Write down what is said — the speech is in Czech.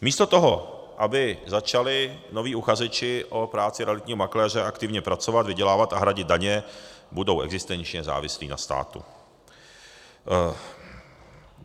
Místo toho, aby začali noví uchazeči o práci realitního makléře aktivně pracovat, vydělávat a hradit daně, budou existenčně závislí na státu.